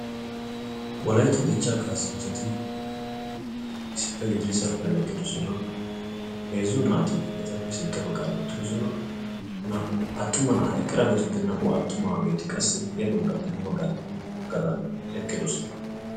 Wolaytta dichcha kaassanchchati issippe gididi salppiyan eqqidoosona, heezzu naati etappe sinttaa baggan uttiddossona, naa"u attuma nay ha eqqirageetuppe naa"u attumageeti qassi ya bagga gaxan ha bagga gaxan eqqidoosona.